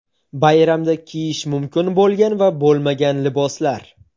Bayramda kiyish mumkin bo‘lgan va bo‘lmagan liboslar.